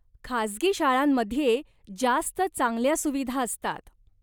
खासगी शाळांमध्ये जास्त चांगल्या सुविधा असतात.